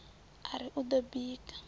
a ri u ḓo bika